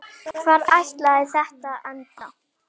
Hvar ætlaði þetta að enda?